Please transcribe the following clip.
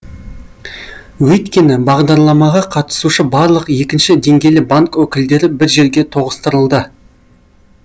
өйткені бағдарламаға қатысушы барлық екінші деңгейлі банк өкілдері бір жерге тоғыстырылды